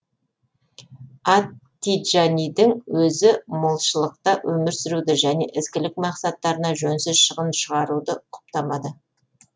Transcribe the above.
ат тиджанидің өзі молшылықта өмір сүруді және ізгілік мақсаттарына жөнсіз шығын шығаруды құптамады